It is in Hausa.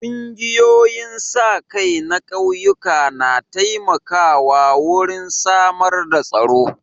Ƙungiyoyin sa-kai na ƙauyuka na taimakawa wurin samar da tsaro.